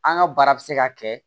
An ka baara bɛ se ka kɛ